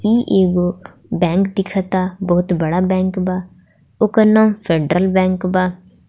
इ एगो बैंक दिख ता बहुत बड़ा बैंक बा ओकर नाम फेडरल बैंक बा।